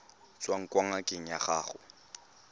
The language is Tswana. tswang kwa ngakeng ya gago